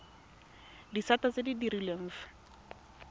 disata tse di direlwang fa